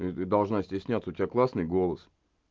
должна стесняться у тебя классный голос